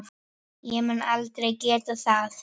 Ég mun aldrei geta það.